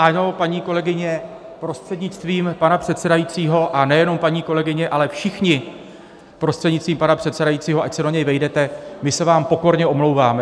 Ano, paní kolegyně, prostřednictvím pana předsedajícího, a nejenom paní kolegyně, ale všichni, prostřednictvím pana předsedajícího - ať se do něj vejdete - my se vám pokorně omlouváme.